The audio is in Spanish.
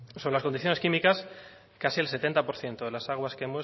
sobre las condiciones químicas casi el setenta por ciento